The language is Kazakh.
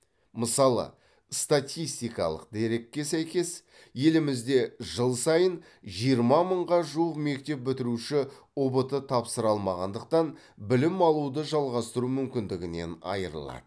мысалы статистикалық дерекке сәйкес елімізде жыл сайын жиырма мыңға жуық мектеп бітіруші ұбт тапсыра алмағандықтан білім алуды жалғастыру мүмкіндігінен айырылады